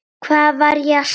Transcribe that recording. Hvað var ég að spá?